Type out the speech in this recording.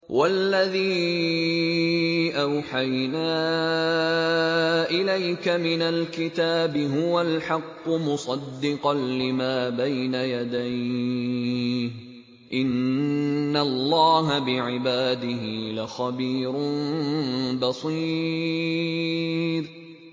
وَالَّذِي أَوْحَيْنَا إِلَيْكَ مِنَ الْكِتَابِ هُوَ الْحَقُّ مُصَدِّقًا لِّمَا بَيْنَ يَدَيْهِ ۗ إِنَّ اللَّهَ بِعِبَادِهِ لَخَبِيرٌ بَصِيرٌ